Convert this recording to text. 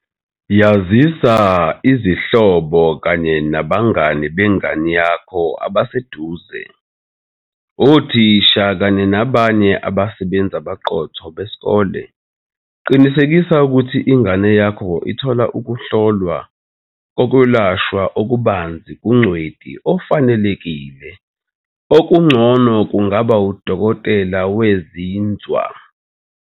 Yazisa izihlobo kanye nabangani bengane yakho abaseduze, othisha kanye nabanye abasebenzi abaqotho besikolo. Qinisekisa ukuthi ingane yakho ithola ukuhlolwa kokwelashwa okubanzi kungcweti ofanelekile, okungcono kungaba udokotela wezinzwa.